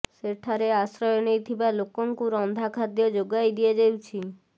ସେଠାରେ ଆଶ୍ରୟ ନେଇଥିବା ଲୋକଙ୍କୁ ରନ୍ଧା ଖାଦ୍ୟ ଯୋଗାଇ ଦିଆଯାଉଛି